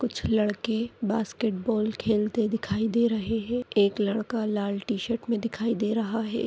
कुछ लड़के बास्केटबॉल खेलते दिखाई दे रहे है। एक लड़का लाल टीशर्ट मे दिखाई दे रहा है।